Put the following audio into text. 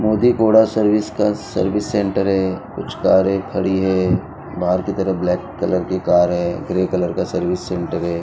मोदी कोड़ा सर्विस का service centre है कुछ कारे खड़ी है बाहर की तरह ब्लैक कलर की कार है ग्रे कलर का सर्विस सेंटर है।